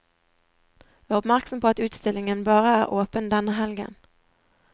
Vær oppmerksom på at utstillingen bare er åpen denne helgen.